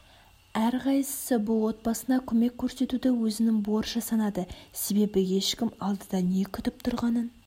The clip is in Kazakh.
әр қайсысы бұл отбасына көмек көрсетуді өзінің борышы санады себебеі ешкім алдыда не күтіп тұрғанын